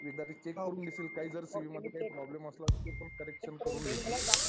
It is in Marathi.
प्लिज आणि चेक करून घेशील. काही जर सी वि मध्ये प्रॉब्लेम असला तर ते पण करेक्शन करून घेशील.